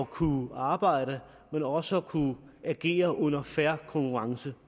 kunne arbejde men også at kunne agere under fair konkurrence